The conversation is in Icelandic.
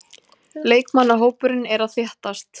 Leikmannahópurinn er að þéttast.